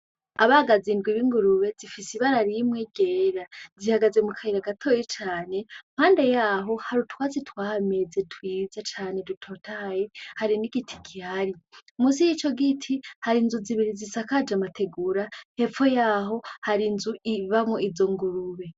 Abagazi ndwi b'ingurube zifise ibara rimwe ryera zihagaze mukayira gatoyi cane mpande yaho hari utwatsi twahameze twiza cane dutotahaye hari n’igiti gihari , munsi yico giti hari inzu zibiri zisakaje amategura hepfo yaho hari inzu ibamwo izo ngurube.